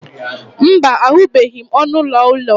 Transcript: mba, ahụbeghị m ọnụ ụlọ ụlọ